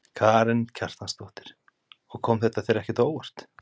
Karen Kjartansdóttir: Og kom þetta þér ekki á óvart?